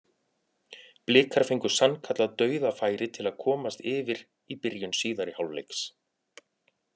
Blikar fengu sannkallað dauðafæri til að komast yfir í byrjun síðari hálfleiks.